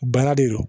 Bana de don